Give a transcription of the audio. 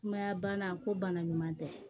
Sumaya bana ko bana ɲuman tɛ